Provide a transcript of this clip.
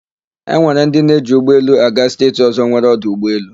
E nwere ndị na-eji ụgbọelu aga steeti ọ̀zọ́ nwere ọdụ ụgbọelu.